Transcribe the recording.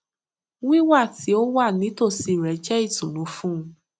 wíwà tí ó wà nítòsí rẹ jẹ ìtùnú fún un